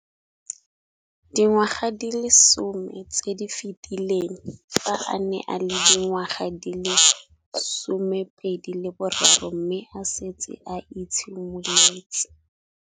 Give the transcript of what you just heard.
Dingwaga di le 10 tse di fetileng, fa a ne a le dingwaga di le 23 mme a setse a itshimoletse